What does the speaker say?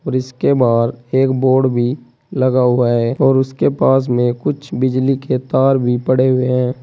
और इसके बाहर एक बोर्ड भी लगा हुआ है और उसके पास में कुछ बिजली के तार भी पड़े हुए हैं।